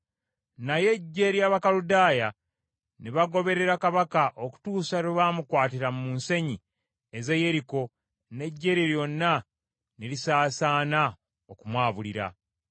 Naye eggye ly’Abakaludaaya ne bagoberera kabaka, okutuusa lwe bamukwatira mu nsenyi ez’e Yeriko n’eggye lye lyonna ne lisaasaana okumwabulira.